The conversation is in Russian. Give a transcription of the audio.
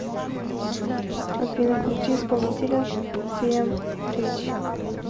афина включи исполнителя сиэмэйч